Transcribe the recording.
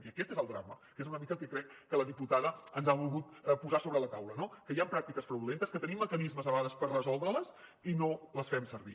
i aquest és el drama que és una mica el que crec que la diputada ens ha volgut posar sobre la taula no que hi han pràctiques fraudulentes que tenim mecanismes a vegades per resoldre les i no els fem servir